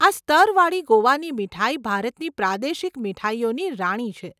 આ સ્તરવાળી ગોવાની મીઠાઈ ભારતની પ્રાદેશિક મીઠાઈઓની રાણી છે.